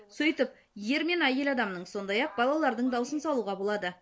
сөйтіп ер мен әйел адамның сондай ақ балалардың дауысын салуға болады